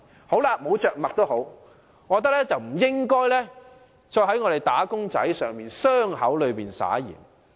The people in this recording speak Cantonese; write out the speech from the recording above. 沒有着墨也罷，但政府不應在"打工仔"的傷口上灑鹽。